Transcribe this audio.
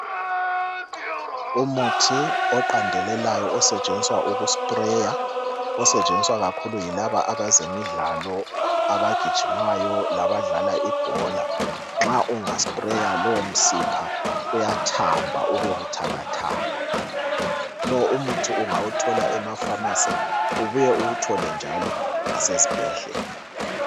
Umuthi oqandelelayo, osetshenziswa ukuspreya. Osetshenziswa ikakhulu yilaba abezemidlalo. Abagijimayo labadlala ibhola. Nxa ungaspreya, lowomsipha uyathamba, ube buthakathaka. Lo umuthi ungawuthola emapharmacy, Ubuye uwuthole njalo, lasezibhedlela.